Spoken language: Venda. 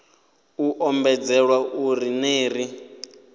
u ombedzelwa uri ner i